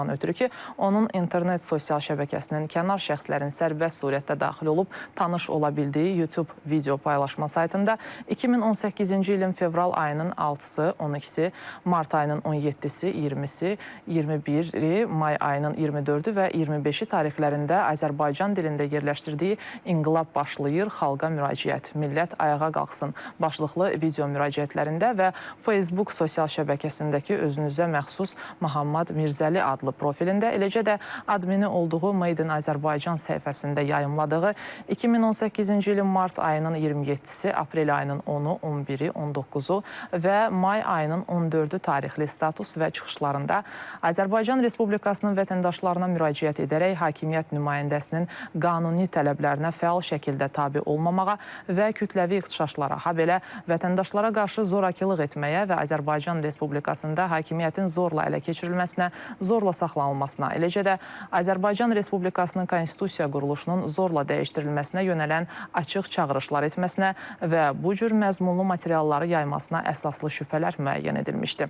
Ondan ötrü ki, onun internet sosial şəbəkəsinin kənar şəxslərin sərbəst surətdə daxil olub tanış ola bildiyi Youtube video paylaşma saytında 2018-ci ilin fevral ayının 6-sı, 12-si, mart ayının 17-si, 20-si, 21-i, may ayının 24-ü və 25-i tarixlərində Azərbaycan dilində yerləşdirdiyi “İnqilab Başlayır, Xalqa Müraciət, Millət Ayağa Qalxsın” başlıqlı video müraciətlərində və Facebook sosial şəbəkəsindəki özünə məxsus Mahammad Mirzəli adlı profilində, eləcə də admini olduğu “Made in Azerbaijan” səhifəsində yayımladığı 2018-ci ilin mart ayının 27-si, aprel ayının 10-u, 11-i, 19-u və may ayının 14-ü tarixli status və çıxışlarında Azərbaycan Respublikasının vətəndaşlarına müraciət edərək hakimiyyət nümayəndəsinin qanuni tələblərinə fəal şəkildə tabe olmamağa və kütləvi ixtişaşlara, habelə vətəndaşlara qarşı zorakılıq etməyə və Azərbaycan Respublikasında hakimiyyətin zorla ələ keçirilməsinə, zorla saxlanılmasına, eləcə də Azərbaycan Respublikasının konstitusiya quruluşunun zorla dəyişdirilməsinə yönələn açıq çağırışlar etməsinə və bu cür məzmunlu materialları yaymasına əsaslı şübhələr müəyyən edilmişdir.